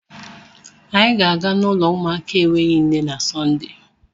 Anyị ga-aga n'ụlọ ụmụaka enweghị nne na Sọnde.